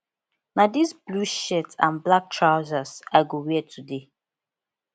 na this blue shirt and black trousers i go wear today